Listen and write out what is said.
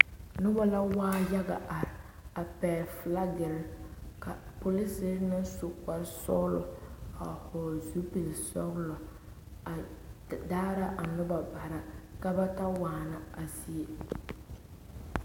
Noba la waa yaga a are, a pegele baagere ka polisiiri a su kparre sɔglɔ a vɔgeli zupili sɔglɔ a Daara a noba bara ka ba ta waana a zie.